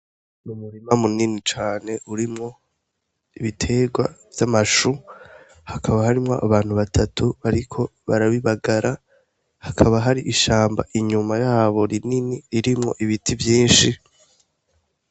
Umurima mu nini cane urimwo ibiterwa vy'amashu hakaba harimwo abantu batatu bariko barabibagara hakaba hari ishamba inyuma yabo rinini ririmwo ibiti vyishi.